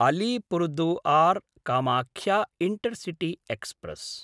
अलीपुरदुआर्–कामाख्या intercity express